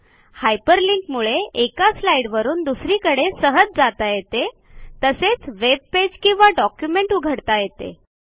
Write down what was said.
hyperlink मुळे एका स्लाईडवरून दुसरीकडे सहज जाता येते तसेच वेब पेज किंवा डॉक्युमेंट उघडता येते